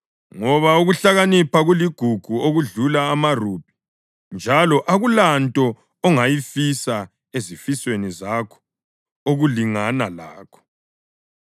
ngoba ukuhlakanipha kuligugu okudlula amarubhi, njalo akulanto ongayifisa ezifisweni zakho okulingana lakho.